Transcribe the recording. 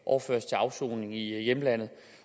overføres til afsoning i hjemlandet